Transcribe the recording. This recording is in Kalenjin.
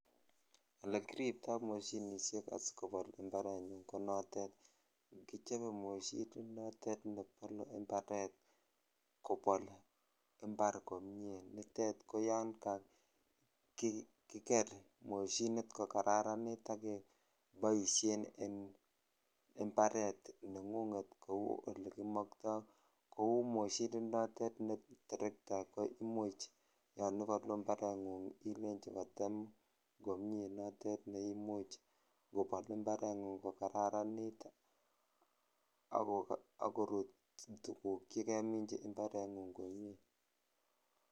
Olekiripto moshinisiek asikobol imbarenyun konotet. Kichabe moshoninotet nebole imbaret kobol imbar komie. Nitet ko yon kakiker moshinit kokararanit ak keboisien en imbaret nengunget kou olekimakto. Kou moshininotet ne terekta koimuch yon ibalu imbarengung ilenji kotem komie notet ne imuch kobol imbarengung kokararanit agorut tuguk che keminji imbarengung komie.